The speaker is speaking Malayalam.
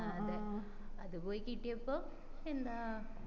ആ അതെ അത് പോയി കിട്ടിയപ്പം എന്താ